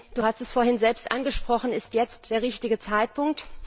Du hast es vorhin selbst angesprochen Ist jetzt der richtige Zeitpunkt?